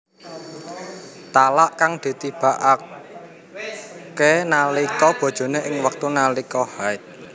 Talak kang ditibakakenalika bojone ing wektu nalika haid